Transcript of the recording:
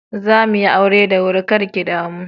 Zamuyi aure da wuri kar ki damu.